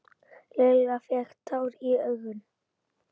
Lilla fékk tár í augun.